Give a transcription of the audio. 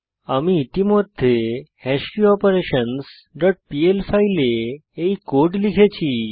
আমি ইতিমধ্যে হ্যাশকিওপারেশনসহ ডট পিএল ফাইলে এই কোড লিখেছি